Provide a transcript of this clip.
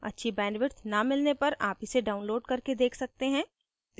अच्छी bandwidth न मिलने पर आप इसे download करके देख सकते हैं